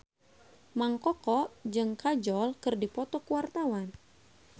Mang Koko jeung Kajol keur dipoto ku wartawan